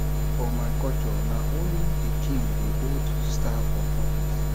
for my culture na only di king dey hold staff of office